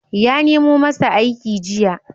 Ya nemo masa aiki jiya.